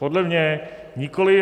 Podle mě nikoliv.